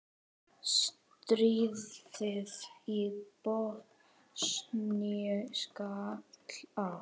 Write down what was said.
Stríðið í Bosníu skall á.